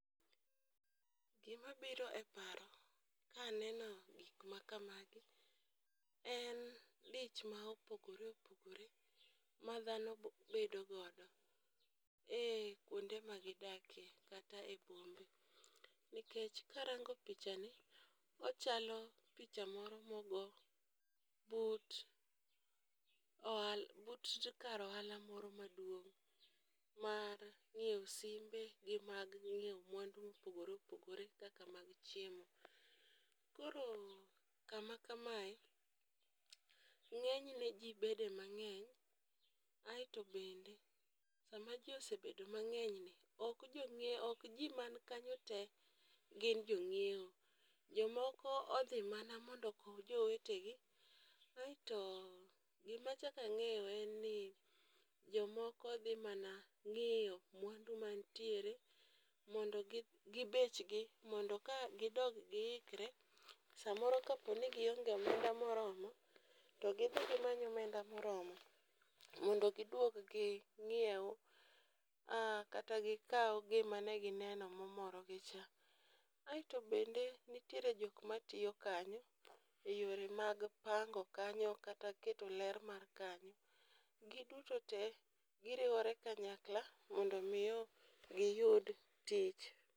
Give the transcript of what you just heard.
Gima biro e paro ka aneno gik ma kamagi. en dich mopogore opogore ma dhano bo bedo godo, e kuonde ma gidakie kata e bombe. Nikech karango pichani, ochalo picha moro mogo oala but kar oala moro maduong' mar ng'ieo simbe gi mag ng'ieo mwandu mopogore opogore kaka mag chiemo. Koro kama kamae, ng'enyne ji bede mang'eny, aoto bende sama ji osebedo mang'enyni ok jong'ieo ok ji man kanyo te gin jo ng'ieo, jomoko odhi mana mondo okow jowetegi. Aeto gima achako ang'eyo en ni , jomoko dhi mana ng'iyo mwandu man tiere mondo gi bechgi mondo ka gidog giikre samoro kaponi gionge omenda moromo, to gidhi gimany omenda moromo mondo giduog ging'ieu aah kata gikau gimane gineno momoro gicha. Aeto bende nitiere jok matiyo kanyo e yore mag pango kanyo kata keto ler mar kanyo. Giduto te, giriwore kanyakla mondo miyo giyud tich.